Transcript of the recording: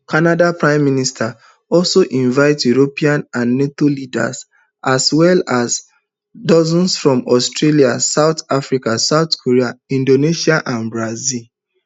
canada pm carney also invite european and nato leaders and well as dose from australia south africa south korea indonesia and brazil